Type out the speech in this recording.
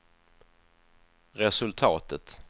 resultatet